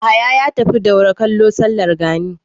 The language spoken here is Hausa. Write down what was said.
Yahaya ya tafi Daura kallo sallar gani.